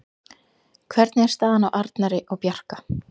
Hvernig er staðan á Arnari og Bjarka?